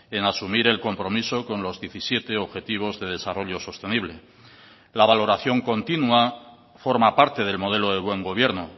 en asumir el compromiso con los diecisiete objetivos de desarrollo sostenible la valoración continúa forma parte del modelo de buen gobierno